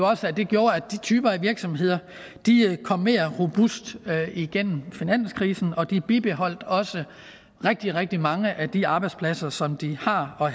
også at det gjorde at de typer af virksomheder kom mere robuste igennem finanskrisen og de bibeholdt også rigtig rigtig mange af de arbejdspladser som de har og